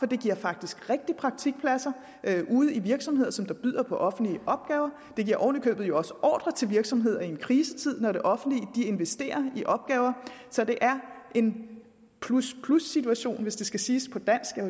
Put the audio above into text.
det giver faktisk rigtige praktikpladser ude i virksomheder som byder på de offentlige opgaver det giver oven i købet også ordrer til virksomhederne i en krisetid når det offentlige investerer i opgaver så det er en plus plus situation hvis det skal siges på dansk jeg